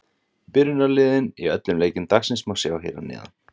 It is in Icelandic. Byrjunarliðin í öllum leikjum dagsins má sjá hér að neðan.